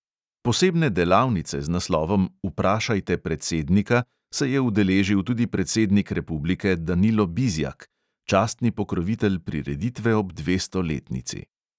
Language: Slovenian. Posebne delavnice z naslovom "vprašajte predsednika" se je udeležil tudi predsednik republike danilo bizjak, častni pokrovitelj prireditve ob dvestoletnici.